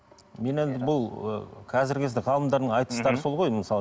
мен енді бұл ы қазіргі кезде ғалымдардың айтыстары сол ғой мысалы